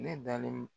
Ne dalen